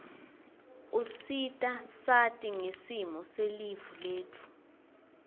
usita siati ngesimo selive letfu